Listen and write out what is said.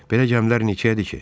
Belə gəmilər neçəyədir ki?